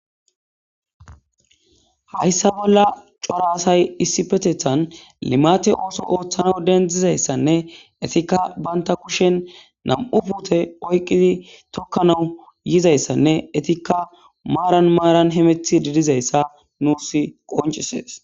Hayssa bolla coraasay issi petethan limate ooso ooththana dendizayssanne etikka banta kushen nam'u puute oyqqidi tokkanau yizayssanne etikka maaran maaran hemethi didizayssa nuus qoncisees.